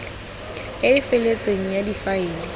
e e feletseng ya difaele